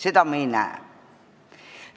Seda me ei näe.